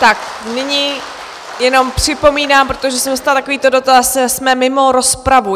Tak nyní jenom připomínám, protože jsem dostala takovýto dotaz, jsme mimo rozpravu.